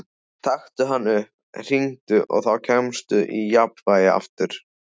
Taktu hann upp, hringdu, og þá kemstu í jafnvægi aftur.